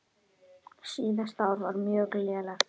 Síðasta ár var mjög lélegt.